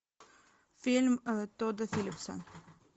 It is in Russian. фильм тодда филлипса